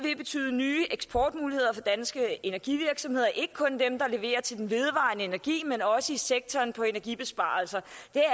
nye eksportmuligheder for danske energivirksomheder ikke kun dem der leverer til den vedvarende energi men også i sektoren for energibesparelser